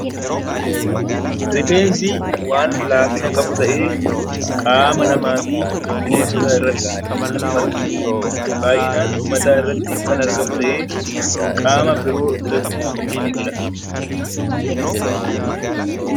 Rifeensi waan laafina qabu ta'ee, qaama namaq fi bineensota irratti kan margu dha. Baay'inaan mataa irratti kan argamu ta'ee, qaama biroo irrattis ni biqila.